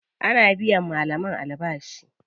Ana biyan malaman albashi.